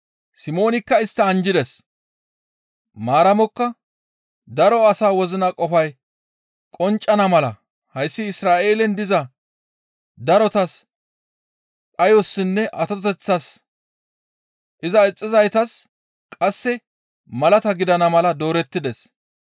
Simoonikka istta anjjides; Maaramokka, «Daro asa wozina qofay qonccana mala hayssi Isra7eelen diza darotas dhayossinne atoteththassa; Iza ixxizaytas qasse malata gidana mala doorettides.